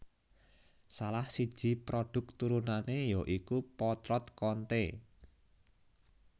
Salah siji prodhuk turunane ya iku potlot Konte